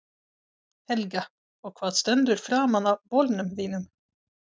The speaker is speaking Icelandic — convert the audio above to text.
Helga: Og hvað stendur framan á bolnum þínum?